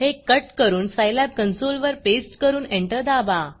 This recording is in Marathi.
हे कट करून सायलॅब कन्सोलवर पेस्ट करून एंटर दाबा